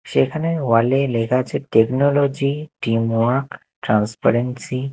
সেখানে ওয়াল -এ লেখা আছে টেকনোলজি টিম ওয়ার্ক ট্রান্সপারেন্সি ।